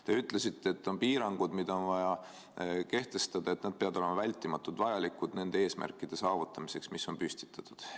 Te ütlesite, et piirangud, mida on vaja kehtestada, peavad olema vältimatult vajalikud nende eesmärkide saavutamiseks, mis on püstitatud.